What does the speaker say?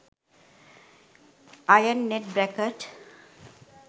iron net bracket